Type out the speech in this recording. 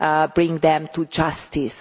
to bring them to justice?